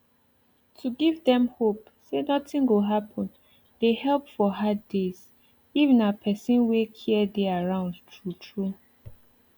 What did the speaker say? to give dem hope say nothing go happen dey help for hard days if na person wey care dey around true true